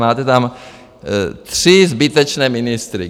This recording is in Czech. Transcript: Máte tam tři zbytečné ministry.